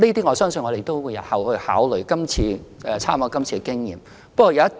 我相信我們日後也會參考今次的經驗，作出相關考慮。